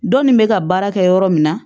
Dɔnni bɛ ka baara kɛ yɔrɔ min na